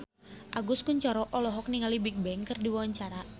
Agus Kuncoro olohok ningali Bigbang keur diwawancara